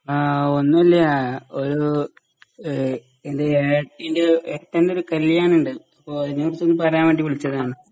ആ ഒന്നൂല്യാ ഒരു ഏഹ് എൻ്റെ ഏടത്തിൻ്റെ ഏട്ടൻ്റെ ഒരു കല്യാണ്ണ്ട് പ്പോ അയിനെക്കുറിച്ചൊന്നു പറയാൻ വേണ്ടി വിളിച്ചതാണ്.